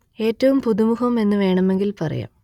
എറ്റവും പുതുമുഖം എന്നു വേണമെങ്കിൽ പറയാം